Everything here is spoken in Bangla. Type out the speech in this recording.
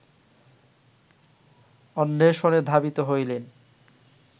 অন্বেষণে ধাবিত হইলেন